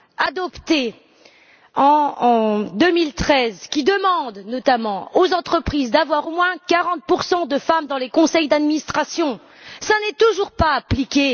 adoptée en 2013 qui demande, notamment, aux entreprises d'avoir au moins 40 de femmes dans les conseils d'administration, n'est toujours pas appliquée...